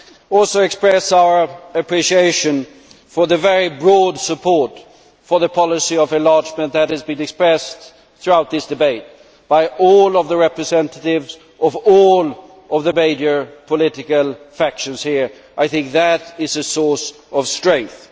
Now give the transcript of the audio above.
I also express our appreciation for the very broad support for the policy of enlargement that has been expressed throughout this debate by all of the representatives of all of the major political factions here. I think that is a source of strength.